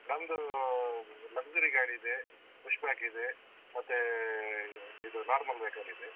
ನಮ್ದು luxury ಗಾಡಿ ಇದೆ, ಪುಪ್ಷಕ್ ಇದೆ ಮತ್ತೇ ಇದು normal vehicle ಇದೆ.